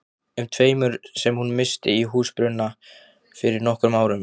um tveimur sem hún missti í húsbruna fyrir nokkrum árum.